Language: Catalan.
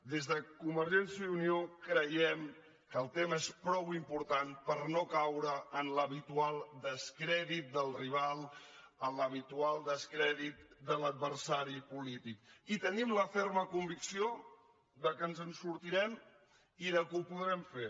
des de convergència i unió creiem que el tema és prou important per no caure en l’habitual descrèdit del rival en l’habitual descrèdit de l’adversari polític i tenim la ferma convicció que ens en sortirem i que ho podrem fer